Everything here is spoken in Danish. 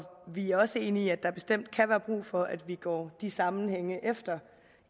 vi er også enige i at der bestemt kan være brug for at vi går de sammenhænge efter